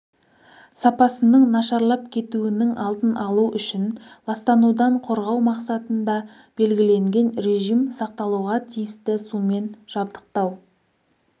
сапасының нашарлап кетуінің алдын алу үшін ластанудан қорғау мақсатында белгіленген режим сақталуға тиісті сумен жабдықтау